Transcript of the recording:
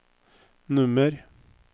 nummer